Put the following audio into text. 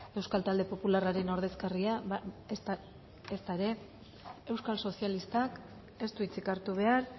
euskal talde popularraren ordezkaria ezta ere euskal sozialistak ez du hitzik hartu behar